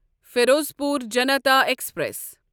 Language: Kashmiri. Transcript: فیروزپور جنتا ایکسپریس